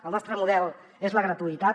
el nostre model és la gratuïtat